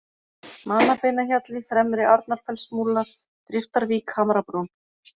Mannabeinahjalli, Fremri-Arnarfellsmúlar, Driftarvík, Hamrabrún